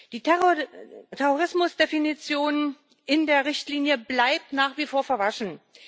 Die Terrorismusdefinition in der Richtlinie bleibt nach wie vor verwaschen.